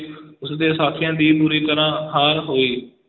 ਉਸ ਦੇ ਸਾਥੀਆਂ ਦੀ ਬੁਰੀ ਤਰ੍ਹਾਂ ਹਾਰ ਹੋਈ।